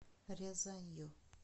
рязанью